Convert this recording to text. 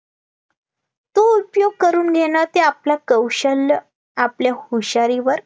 तो उपयोग करून घेणं ते आपलं कौशल्य आपल्या हुशारीवर